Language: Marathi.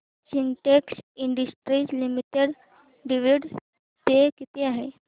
Sintex industries limited dividend pay किती आहे